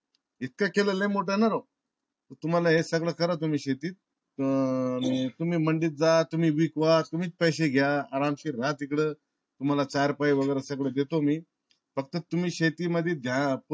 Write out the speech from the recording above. इतका केला लई मोठा ना राव. तुम्हाला हे सगळा करा तुम्ही शेतीत अं तुम्ही मांडीत जा तुम्हीच विकवा. तुम्हीच पैसे घ्या. आरामशी राहा तिकड. तुम्हाला चार पाई वागिरे देतो सगळ देतो मी फक्त तुम्ही शेती मध्ये.